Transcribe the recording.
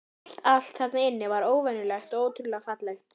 Allt, allt þarna inni var óvenjulegt og ótrúlega fallegt.